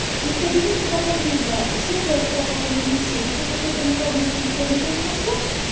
и в кабинете потом видно все ты отправила или не все если какой-то накладной в телефоне ты не нашла